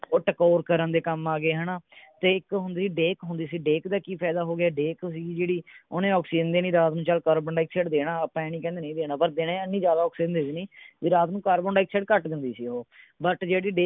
ਉਹ ਟਕੋਰ ਕਰਨ ਦੇ ਕੰਮ ਆ ਗਏ ਹੈ ਨਾ ਤੇ ਇੱਕ ਹੁੰਦੀ ਸੀ ਡੇਕ ਡੇਕ ਦਾ ਕੀ ਫਾਇਦਾ ਹੁੰਦਾ ਸੀ ਡੇਕ ਸੀਗੀ ਜਿਹੜੀ ਓਹਨੇ ਆਕਸੀਜ਼ਨ ਦੇਣੀ ਰਾਤ ਨੂੰ ਚਲ ਕਾਰਬਨਡਾਈਆਕਸਾਈਡ ਦੇਣਾ ਆਪਾਂ ਐਂ ਨਹੀਂ ਕਹਿੰਦੇ ਨਹੀਂ ਦੇਣਾ ਪਰ ਦਿਨੇ ਇੰਨੀ ਜਿਆਦਾ ਆਕਸੀਜ਼ਨ ਦੇ ਦੇਣੀ ਵੀ ਰਾਤ ਨੂੰ ਕਾਡਾਈਆਕਸਾਈਡ ਘੱਟ ਦਿੰਦੀ ਸੀ ਓਹੋ but ਜਿਹੜੀ ਡੇਕ